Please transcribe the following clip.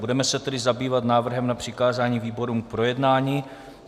Budeme se tedy zabývat návrhem na přikázání výborům k projednání.